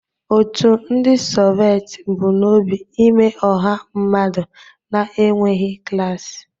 Otu ndị Soveti bu n'obi imee ọha mmadụ na-enweghị klas.